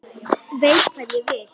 Veit hvað ég vil.